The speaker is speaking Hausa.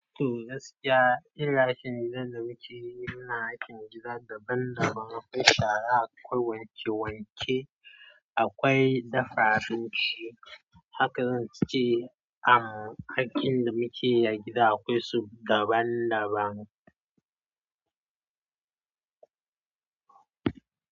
Toh gaskiya, irin aikin gidan da muke yi muna aikin gida daban-daban. Akwai shara, akwai wanke-wanke, akwai dafa abinci. Haka zan ce, am, aikin da muke yi a gida akwai su daban-daban.